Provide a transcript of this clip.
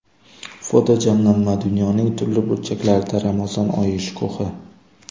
Fotojamlanma: Dunyoning turli burchaklarida Ramazon oyi shukuhi.